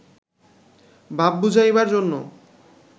ভাব বুঝাইবার জন্য